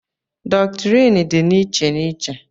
dọktrịn dị n'iche n'iche